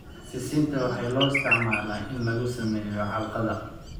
Sisinta waxaa loo isticmaalaa in laga sameeyo calgada.